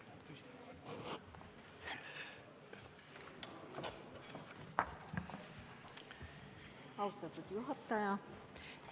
Austatud juhataja!